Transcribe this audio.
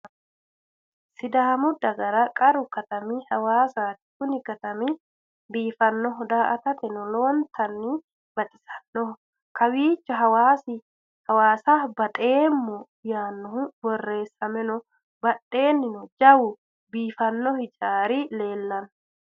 Sidaammu daggara qarru katammi hawwasati. kuni katamini biifanoho, daa'attateno lowwonittani baxxisannoho kowwicho hawassa baxxemmo yaannohu borresame noo badhenino jawwu biifano hiijjarri leellanno